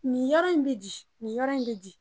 Nin yɔrɔ in be di, nin yɔrɔ in be di.